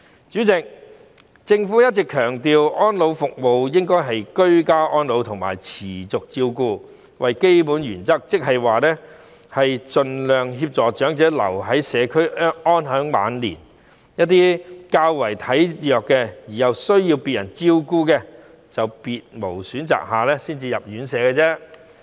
主席，政府一直強調安老服務應該以居家安老及持續照顧為基本原則，即是盡量協助長者留在社區安享晚年，一些較為體弱而需要別人照顧的長者，在別無選擇下才需要入住院舍。